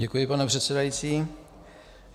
Děkuji, pane předsedající.